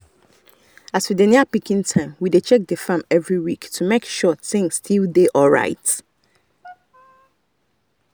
as we dey near picking time we dey check the farm every week to make sure things still dey alright.